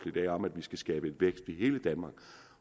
i dag om at vi skal skabe vækst i hele danmark